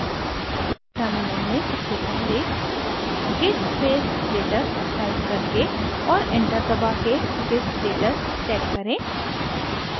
terminal में सबसे पहले git space status टाइप करके और enter दबा के git status check करें